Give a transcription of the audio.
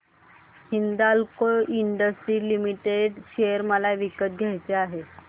Hindalco industries limited share मला विकत घ्यायचे आहेत